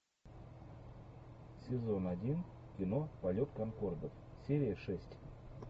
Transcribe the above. сезон один кино полет конкордов серия шесть